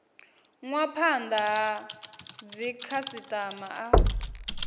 nwa phanda ha dzikhasitama a